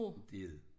Det er det